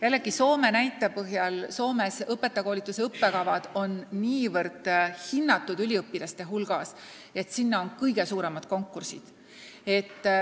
Jällegi Soome näite põhjal: Soomes on õpetajakoolituse õppekavad üliõpilaste hulgas nii hinnatud, et sinna on kõige suuremad konkursid.